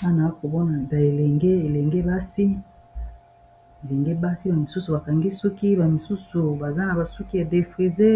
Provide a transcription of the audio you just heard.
Awa nazomona bilenge basi bamisusu bakangi suki bamisusu baza na basuki ye defrisé